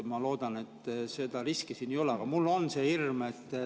Ma loodan, et seda riski siin ei ole, aga mul on see hirm.